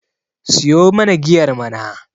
siyo mana giyar mana!